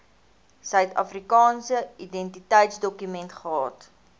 suidafrikaanse identiteitsdokument gehad